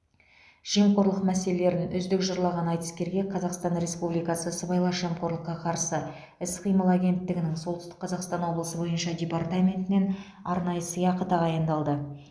жемқорлық мәселелерін үздік жырлаған айтыскерге қазақстан республикасы сыбайлас жемқорлыққа қарсы іс қимыл агенттігінің солтүстік қазақстан облысы бойынша департаментінен арнайы сыйақы тағайындалды